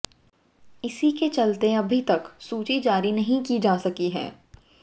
इसी के चलते अभी तक सूची जारी नहीं की जा सकी है